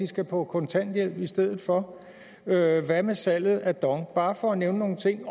skal på kontanthjælp i stedet for hvad hvad med salget af dong bare for at nævne nogle ting